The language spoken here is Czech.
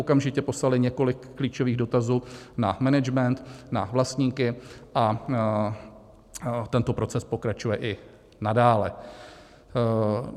Okamžitě poslali několik klíčových dotazů na management, na vlastníky a tento proces pokračuje i nadále.